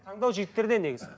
таңдау жігіттерде негізі